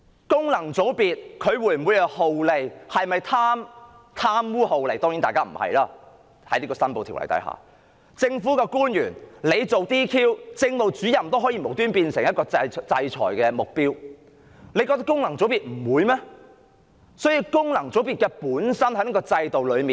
當然，各位功能界別的議員不是貪污酷吏......假如政務主任也可無故成為被制裁的目標，難道政府認為功能界別不會被制裁嗎？